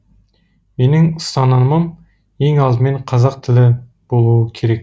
менің ұстанымым ең алдымен қазақ тілі болуы керек